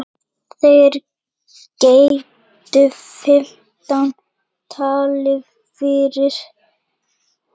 Þeir greiddu fimmtán dali fyrir.